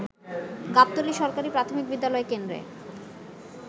গাবতলী সরকারি প্রাথমিক বিদ্যালয় কেন্দ্রে